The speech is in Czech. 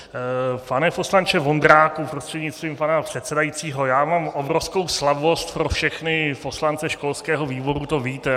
Pane poslanče Vondráku prostřednictvím pana předsedajícího, já mám obrovskou slabost pro všechny poslance školského výboru, to víte.